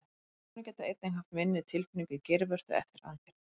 Konur geta einnig haft minni tilfinningu í geirvörtu eftir aðgerð.